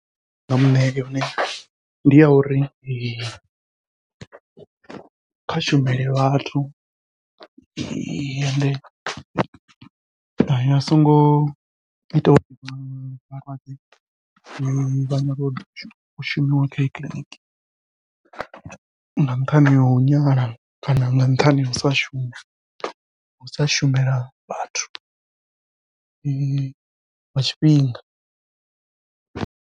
Ndi nga muṋea yone ndi ya uri kha shumele vhathu ende a songo ita uri vhalwadze vha u shumiwa kha ye kiḽiniki nga nṱhani hau nyala kana nga nṱhani hau sa shuma, ngau sa shumela vhathu nga tshifhinga.